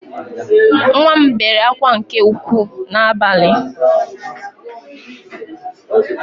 Nwa m bere akwa nke ukwu n’abalị